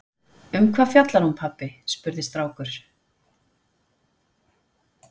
Um hvað fjallar hún pabbi? spurði strákur.